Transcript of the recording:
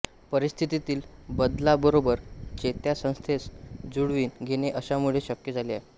परिस्थितीतील बदलाबरोबर चेतासंस्थेस जुळवीन घेणे अशामुळे शक्य झाले आहे